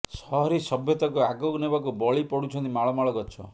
ସହରୀ ସଭ୍ୟତାକୁ ଆଗକୁ ନେବାକୁ ବଳି ପଡ଼ୁଛନ୍ତି ମାଳ ମାଳ ଗଛ